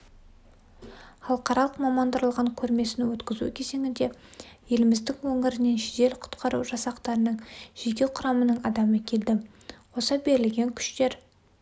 халықаралық мамандандырылған көрмесін өткізу кезеңіне еліміздің өңірінен жедел-құтқару жасақтарының жеке құрамынаң адамы келді қоса берілген күштер